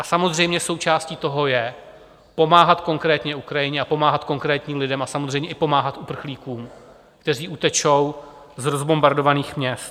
A samozřejmě, součástí toho je pomáhat konkrétně Ukrajině a pomáhat konkrétním lidem, a samozřejmě i pomáhat uprchlíkům, kteří utečou z rozbombardovaných měst.